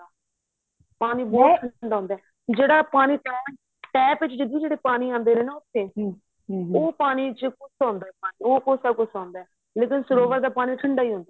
ਪਾਣੀ ਬਹੁਤ ਠੰਡਾ ਹੁੰਦਾ ਏ ਜਿਹੜਾ ਪਾਣੀ tap ਵਿੱਚ ਜੱਗੀ ਜਿਹੜੇ ਪਾਣੀ ਆਦੇ ਨੇ ਉਥੇ ਉਹ ਪਾਣੀ ਚ ਕੋਸਾਂ ਹੁੰਦਾ ਏ ਪਾਣੀ ਉਹ ਕੋਸਾਂ ਕੋਸਾਂ ਹੁੰਦਾ ਏ ਨਹੀਂ ਤੇ ਸਰੋਵਰ ਦਾ ਪਾਣੀ ਠੰਡਾ ਹੀ ਹੁੰਦਾ ਹੀ